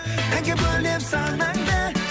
әнге бөлеп санаңды